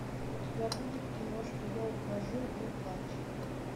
у тебя будет киношка я ухожу не плачь